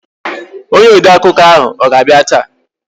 Onye odeakụkọ ahụ ọ ga-abịa taa?